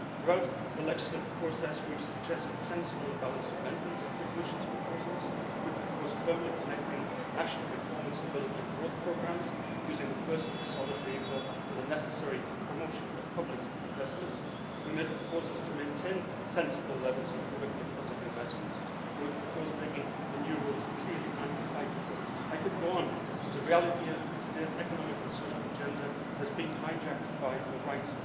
Throughout the legislative process, we have suggested sensible and balanced amendments to the Commission's proposals, we have proposed firmly connecting national reform and stability and growth programmes using the first as a solid vehicle for the necessary promotion of public investment We made proposals to maintain sensible levels of productive public investment and we have proposed making the new rules clearly anti cyclical. I could go on, but the reality is that today's economic and social agenda has been hijacked by the right.